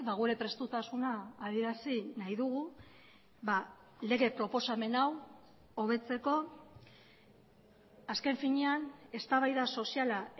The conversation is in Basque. gure prestutasuna adierazi nahi dugu lege proposamen hau hobetzeko azken finean eztabaida soziala